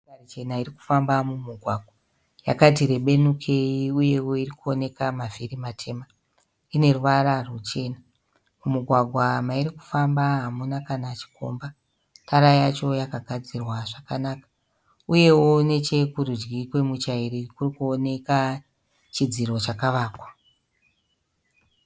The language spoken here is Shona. Motokari chena irikufamba mugwagwa. Yakati rebenukei uyewo irikuonekwa mavhiri matema, ineruvara ruchena. Mugwagwa mairikufamba hamuna kana chikomba. Tara yacho yakagadzirwa zvakanaka, uyewo nechokurudyi komutyairi kurikuoneka chidziro chakavakwa.